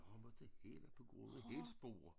Jeg måtte inte på grund af hælspore